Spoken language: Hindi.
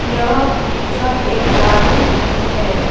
यह पिक्चर एक गार्डन की है।